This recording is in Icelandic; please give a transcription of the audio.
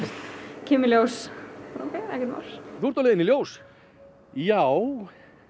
kem í ljós ókei ekkert mál þú ert á leiðinni í ljós já